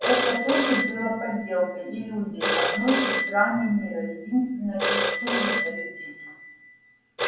это тоже было подделкой иллюзией одной из граней мира единственной доступной для людей